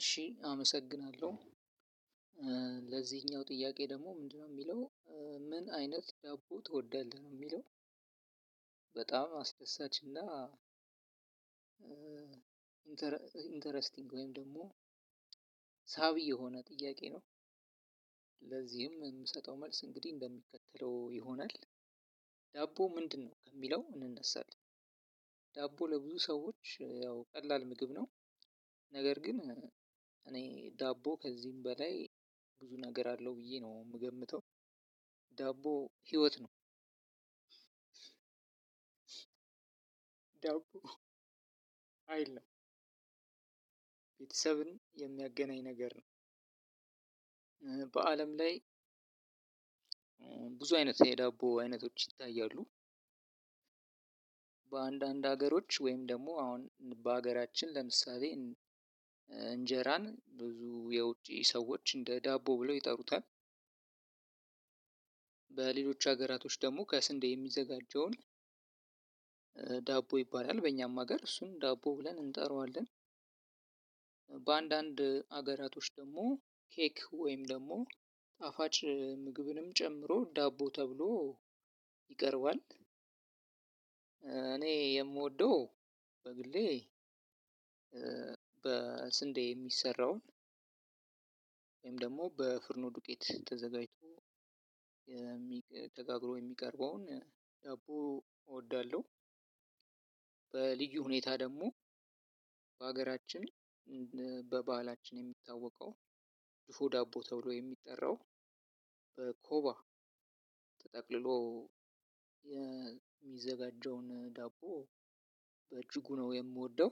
እሺ አመሰግናለሁ ለዚህኛው ጥያቄ ደግሞ ምንድነው የሚለው ምን አይነት ዳቦ ትወዳለህ ነው የሚለው? በጣም አስደሳች እና ኢንተረስቲንግ ወይም ደግሞ ሳቢ የሆነ ጥያቄ ነው። ለዚህም የምሰጠው መልስ እንግዲህ እንደሚከተለው ይሆናል። ዳቦ ምንድነው ከሚለው እንነሳለን ዳቦ ለብዙ ሰዎች ያው ቀላል ምግብ ነው። ነገር ግን እኔ ዳቦ ከዚህም በላይ ብዙ ነገር አለው ብዬ ነው የምገምተው። ዳቦ ህይወት ነው። ዳቦ አይደለም ቤተሰብን የሚያገናኝ ነገር ነው። በአለም ላይ ብዙ አይነት የዳቦ አይነቶች ይታያሉ። በአንዳንድ ሀገሮች ወይም ደግሞ አሁን በሀገራችን ለምሳሌ እንጀራን ብዙ የውጪ ሰዎች እንደ ዳቦ ብለው ይጠሩታል። በሌሎች ሀገራቶች ደግሞ ከስንዴ የሚዘጋጀውን ዳቦ ይባላል በእኛም ሀገር እሱን ዳቦ ብለን እንጠራዋለን። በአንዳንድ ሀገራቶች ደግሞ ኬክ ወይም ደግሞ ጣፋጭ ምግብንም ጨምሮ ዳቦ ተብሎ ይቀርባል። እኔ የምወደው በግሌ በስንዴ የሚሰራውን ወይም ደግሞ በፍርኖ ዱቄት ተዘጋጅቶ ተጋግሮ የሚቀርበውን ዳቦ እወዳለሁ። በልዩ ሁኔታ ደግሞ በሀገራችን በበሃላችን የሚታወቀው ድፎ ዳቦ ተብሎ የሚጠራው በኮባ ተጠቅልሎ የሚዘጋጀውን ዳቦ በእጅጉ ነው የምወደው።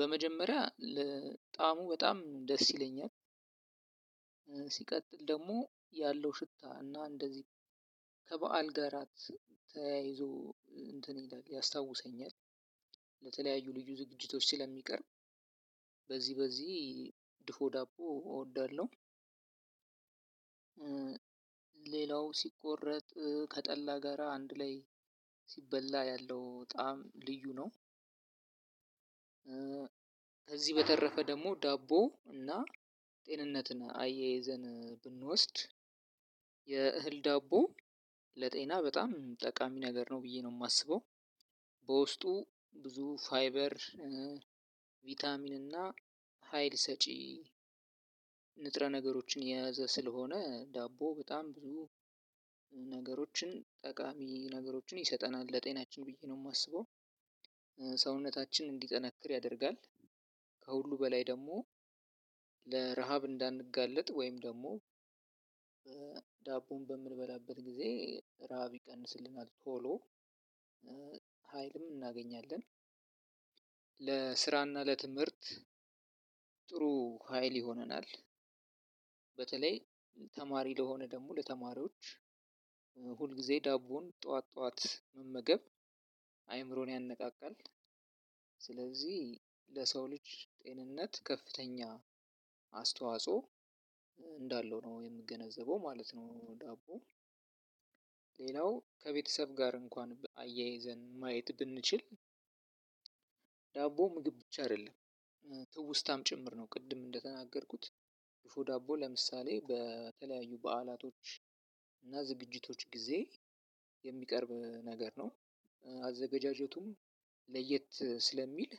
በመጀመሪያ ለጣዐሙ በጣም ደስ ይለኛል። ደግሞ ያለው ሽታ እና እንደዚህ ከበዓል ጋራ ተያይዞ እንትን ይላል ያስታውሰኛል። ለተለያዩ ልዩ ዝግጅቶች ስለሚቀርብ በዚህ በዚህ ድፎ ዳቦ እወዳለሁ። ሌላው ሲቆረጥ ከጠላ ጋራ አንድ ላይ ሲበላ ያለው ጣዕም ልዩ ነው። ከዚህ በተረፈ ደግሞ ዳቦ እና ጤንነትን አያይዘን ብንወስድ የእህል ዳቦ ለጤና በጣም ጠቃሚ ነገር ነው ብዬ ነው የማስበው። በውስጡ ብዙ ፋይበር ቫይታሚን እና ሀይል ሰጪ ንጥረ ነገሮችን የያዘ ስለሆነ ዳቦ በጣም ብዙ ነገሮችን ጠቃሚ ነገሮችን ይሰጠናል ለጤናችን ብዬ ነው የማስበው። ሰውነታችን እንዲጠነክር ያደርጋል። ከሁሉ በላይ ደግሞ ለረሃብ እንዳንጋለጥ ወይም ደግሞ ዳቦን በምንበላበት ጊዜ ረሃብ ይቀንስልናል ቶሎ ሀይልም እናገኛለን። ለስራና ለትምህርት ሀይል ይሆነናል። በተለይ ተማሪ ለሆነ ደግሞ ለተማሪዎች ሁል ጊዜ ዳቦን ጠዋት ጠዋት መመገብ አይምሮን ያነቃቃል። ስለዚህ ለሰው ልጅ ጤንነት ከፍተኛ አስተዋጽኦ እንዳለው ነው የምገነዘበው ማለት ነው። ዳቦ ሌላው ከቤተሰብ ጋር እንኳን አያይዘን ማየት ብንችል ዳቦ ምግብ ብቻ አይደለም። ትውስታም ጭምር ነው ቅድም እንደተናገርኩት ድፎ ዳቦ ለምሳሌ በተለያዩ በዓላቶች እና ዝግጅቶች ጊዜ የሚቀርብ ነገር ነው። አዘገጃጀቱም ለየት ስለሚል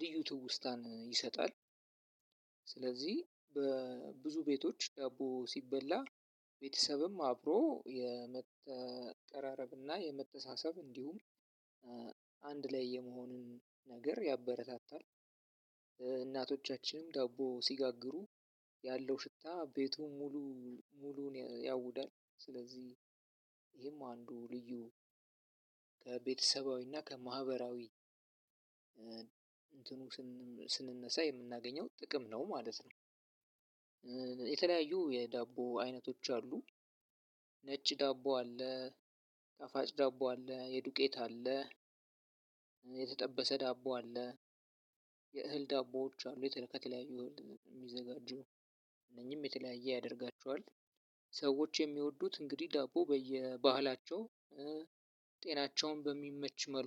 ልዩ ትውስታን ይሰጣል። ስለዚህ በብዙ ቤቶች ዳቦ ሲበላ ቤተሰብም አብሮ የመቀራረብና የመተሳሰብ እንዲሁም አንድ ላይ የመሆንን ነገር ያበረታታል። እናቶቻችንም ዳቦ ሲጋግሩ ያለው ሽታ ቤቱን ሙሉ ሙሉውን ያውዳል ስለዚህ ይሄም አንዱ ልዩ ከቤተሰባዊና ከማህበራዊ እንትኑ ስንነሳ የምናገኘው ጥቅም ነው ማለት ነው። የተለያዩ የዳቦ አይነቶች አሉ። ነጭ ዳቦ አለ። ጣፋጭ ዳቦ አለ የዱቄት አለ። የተጠበሰ ዳቦ አለ። የእህል ዳቦዎች አሉ የተከተለያዩ የሚዘጋጁ እነኚህም የተለያየ ያደርጋቸዋል። ሰዎች የሚወዱት እንግዲህ ዳቦ በየባህላቸው ጤናቸውን በሚመች መልኩ